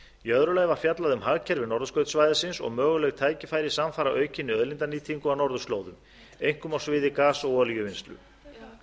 í öðru lagi var fjallað um hagkerfi norðurskautssvæðisins og möguleg tækifæri samfara aukinni auðlindanýtingu á norðurslóðum einkum á sviði gas og olíuvinnslu